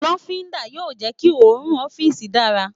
lofinda yóò jẹ ki orùn ọfiisi dara